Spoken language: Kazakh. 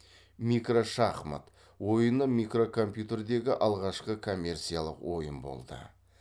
микрошахмат ойыны микрокомпьютердегі алғашқы коммерциялық ойын болды